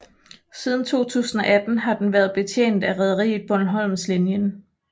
Siden 2018 har den været betjent af rederiet Bornholmslinjen